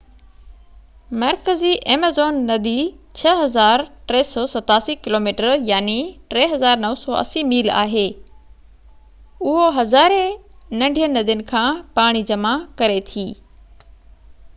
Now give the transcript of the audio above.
مرڪزي ايميزون ندي 6,387 kilometre 3,980 mile آهي. اهو هزارين ننڍين ندين کان پاڻي جمع ڪري ٿي